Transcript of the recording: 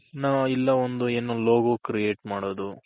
ನಾವ್ ಇಲ್ಲ ಒಂದ್ ಏನೋ logo create ಮಾಡೋದು